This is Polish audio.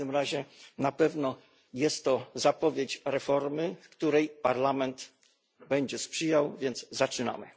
W każdym razie na pewno jest to zapowiedź reformy, której Parlament będzie sprzyjał, więc zaczynamy.